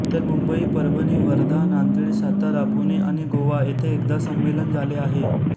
तर मुंबई परभणी वर्धा नांदेड सातारा पुणे आणि गोवा येथे एकदा संमेलन झाले आहे